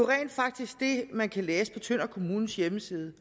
rent faktisk det man kan læse på tønder kommunes hjemmeside